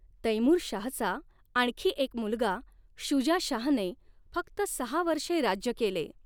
तैमूर शाहचा आणखी एक मुलगा शुजा शाहने, फक्त सहा वर्षे राज्य केले.